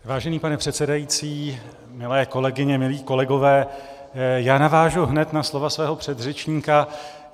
Vážený pane předsedající, milé kolegyně, milí kolegové, já navážu hned na slova svého předřečníka.